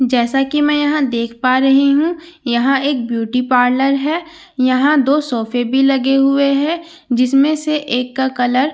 जैसा की मैं यहाँ देख पा रही हूँ यहाँ एक ब्यूटी पार्लर है यहाँ दो सोफ़े भी लगे हुए हैं जिसमें से एक का कलर --